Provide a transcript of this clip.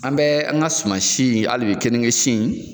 An bɛ an ka suman si halibi keninge si.